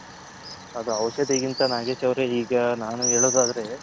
ಅದು ಔಷದಿಗಿಂತ ನಾಗೇಶ್ ಅವರೇ ಈಗ ನಾನು ಹೇಳೋದ್ ಆದ್ರೆ.